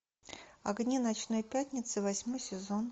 огни ночной пятницы восьмой сезон